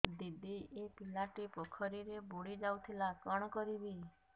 ଦିଦି ଏ ପିଲାଟି ପୋଖରୀରେ ବୁଡ଼ି ଯାଉଥିଲା କଣ କରିବି